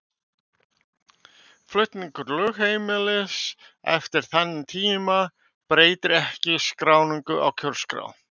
Flutningur lögheimilis eftir þann tíma breytir ekki skráningu á kjörskrá.